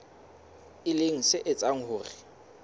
e leng se etsang hore